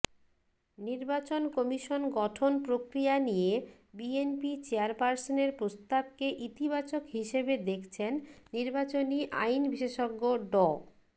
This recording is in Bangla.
নির্বাচন কমিশন গঠন প্রক্রিয়া নিয়ে বিএনপি চেয়ারপারসনের প্রস্তাবকে ইতিবাচক হিসেবে দেখছেন নির্বাচনী আইন বিশেষজ্ঞ ড